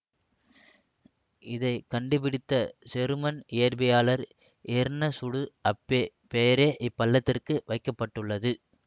இதை கண்டுபிடித்த செருமன் இயற்பியலாளர் எர்னசுடு அப்பே பெயரே இப்பள்ளத்திற்கு வைக்க பட்டுள்ளது